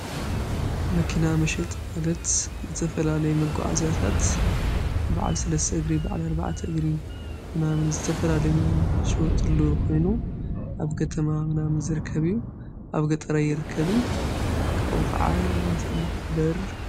መኪና መሸጥ ማለት ዝተፈላለይ ምጐዓ እዚያታት በዕል ሠለሥ ግሪ፣ በዕል ኣርብዓት እግሪ ፣ምናምን ዘተፈላለይን ሽወጥሉ ኾይኑ ።ኣብ ከተማ ምናምን ዘርከብዩ ኣብ ገጠረይ የርከብን ።ካኡ ኸዓ ኣሳማኽበር።